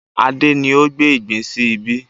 Adé ni ó gbé ìgbín sí ibí